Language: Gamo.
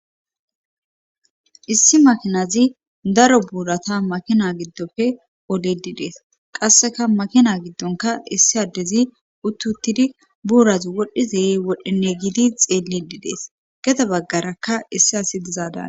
issi makinazi daro buurata makina giddofe oledidees qasseka makina giddonka issi addezi uttuttidi buurazi wodhizeye wodhinne gidi xeelledidees geda baggarakka issi asi dizaadaana